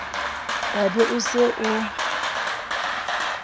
wa be o se o